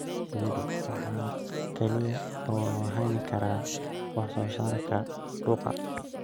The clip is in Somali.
Shinnidu waxa kaliya oo loo hayn karaa wax soo saarka dhuka.